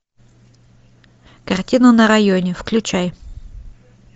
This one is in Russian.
картина на районе включай